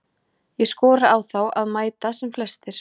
Ég skora á þá að mæta sem flestir.